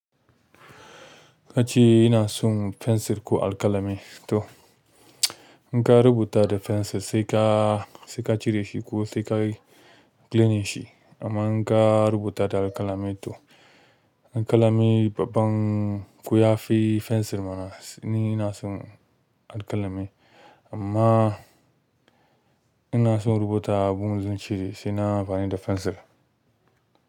Kace ina son fensir ko alƙalami to in ka rubuta da fensir sai ka, sai ka cire shi ko sai ka cleaning shi. Amma in ka rubuta da alƙalami to alƙalami babban ko ya fi fensir mana. Ni ina son alƙalami amma ina son rubuta abun da zan cire sai na amfani da fensir.